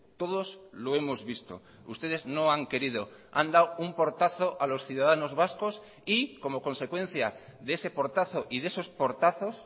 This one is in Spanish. todos lo hemos visto ustedes no han querido han dado un portazo a los ciudadanos vascos y como consecuencia de ese portazo y de esos portazos